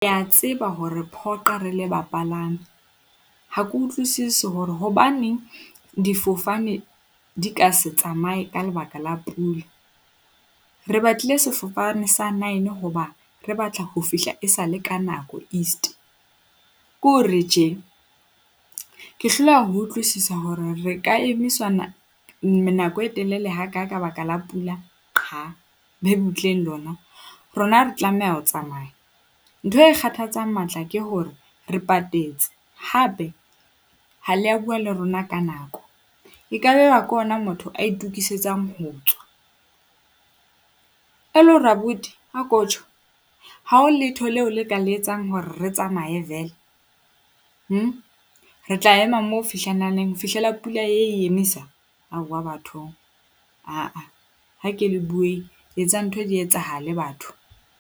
Ya tseba ho re phoqa re le bapalami. Ha ke utlwisisi hore hobaneng difofane di ka se tsamaye ka lebaka la pula. Re batlile sefofane sa nine hoba re batla ho fihla esale ka nako East. Ke hore tje, ke hloleha ho utlwisisa hore re ka emiswa nako e telele haka ka baka la pula qha. Be butleng lona, rona re tlameha ho tsamaya ntho e kgathatsang matla ke hore re patetse hape ha le a bua le rona ka nako, ekabe ba ke hona motho a itokisetsa ho tswa. E le hore abuti ako tjho, ha ho letho leo le ka le etsang hore re tsamaye vele? Re tla ema mo ho fihlela neng? Ho fihlela pula e emisa? Aowa bathong, ha ke le bueng. Etsang ntho di etsahale batho.